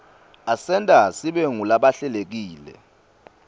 asenta sibe ngulabahlelekile